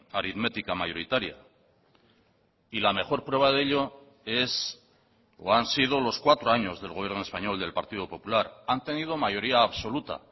aritmética mayoritaria y la mejor prueba de ello es o han sido los cuatro años del gobierno español del partido popular han tenido mayoría absoluta